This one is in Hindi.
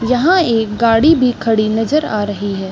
यहाँ एक गाड़ी भी खड़ी नज़र आ रही है।